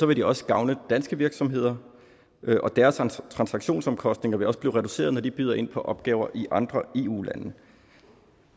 vil det også gavne danske virksomheder og deres transaktionsomkostninger vil også blive reduceret når de byder ind på opgaver i andre eu lande